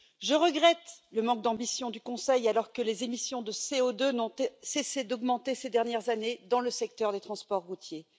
Je regrette le manque d'ambition du Conseil alors que les émissions de CO2 n'ont cessé d'augmenter ces dernières années dans le secteur des transports routiers.